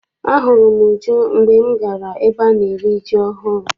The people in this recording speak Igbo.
Ahụrụ m Uju mgbe m gara ebe ana eri ji ọhụụ.